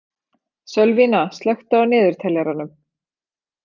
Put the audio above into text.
Sölvína, slökktu á niðurteljaranum.